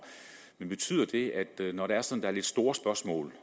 men betyder det at når der sådan lidt store spørgsmål